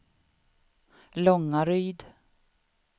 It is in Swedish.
Långaryd